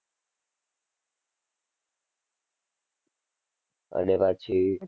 અને પછી